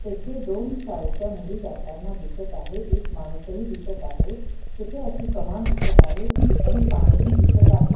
तेथे दोन शाळेच्या मुली जाताना दिसत आहे एक माणूसही आहे तेथे अशी कमान दिसत आहे आणि पाणीही दिसत आहे.